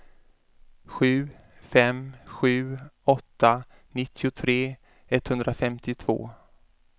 sju fem sju åtta nittiotre etthundrafemtiotvå